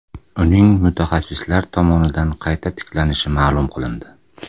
Uning mutaxassislar tomonidan qayta tiklanishi ma’lum qilindi.